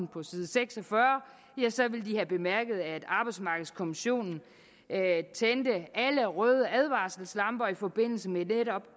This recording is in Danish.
på side seks og fyrre ville de have bemærket at arbejdsmarkedskommissionen tændte alle røde advarselslamper i forbindelse med netop